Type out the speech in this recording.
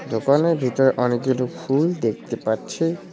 দোকানের ভিতর অনেকগুলি ফুল দেখতে পাচ্ছি।